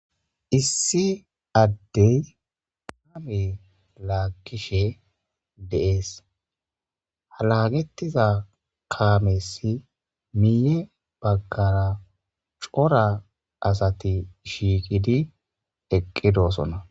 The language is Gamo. Issi adey kaame laggishe de'es ha laggetiza kaamesi miyye baggara coora asati shiqqidi eqqidossona.